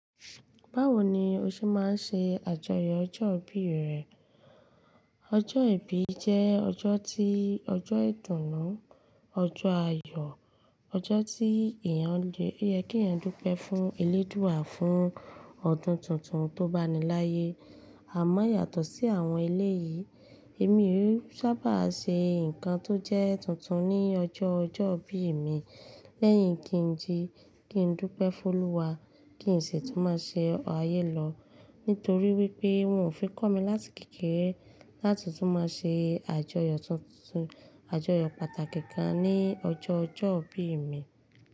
Báwo ni o ṣe máa ń ṣe àjọyọ̀ ọjọ́ ìbí rẹ? Ọjọ́ ìbí jẹ́ ọjọ́ tí, ọjọ́ ìdùnnú, ọjọ́ ayọ̀, ọjọ́ tí èèyàn le, to yẹ kí èèyàn dúpẹ́ fún eléèdúà fún ọdún tuntun tó báni láyé. Àmọ́ yàtọ̀ sí àwọn eleyìí, èmi e sábà ṣe nǹkan tó jẹ́ tuntun ní ọjọ́ ọjọ́ ìbí mi lẹ́yìn kí n ji, kí n dúpẹ́ fún Olúwa, kí n sì tún máa ṣe ayẹ́ lọ nítorí wípé wọ́n ò fi kọ́ mi láti kékeré láti tún máa ṣe àjọyọ̀ tuntun, àjọyọ̀ pàtàkì kan ní ọjọ́ ọjọ́ ìbí mi.